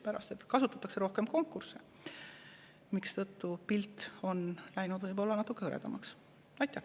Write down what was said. Kasutatakse rohkem konkursse, mistõttu pilt on läinud natuke.